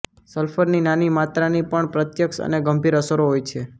સલ્ફરની નાની માત્રાની પણ પ્રત્યક્ષ અને ગંભીર અસરો હોય છે